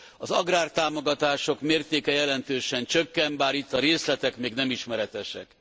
Az agrártámogatások mértéke jelentősen csökken, bár itt a részletek még nem ismeretesek.